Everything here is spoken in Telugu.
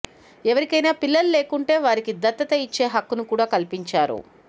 ఎవరికైనా పిల్లలు లేకుంటే వారికి దత్తత ఇచ్చే హక్కును కూడా కల్పించారు